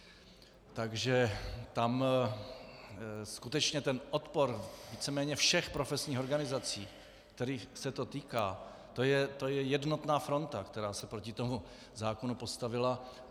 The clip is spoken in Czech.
Takže tam skutečně ten odpor víceméně všech profesních organizací, kterých se to týká, to je jednotná fronta, která se proti tomu zákonu postavila.